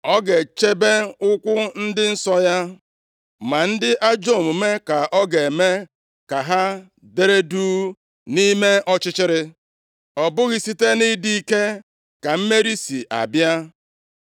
Ọ ga-echebe ụkwụ ndị nsọ ya ma ndị ajọ omume ka ọ ga-eme ka ha dere duu nʼime ọchịchịrị. “Ọ bụghị site nʼịdị ike ka mmeri si abịa.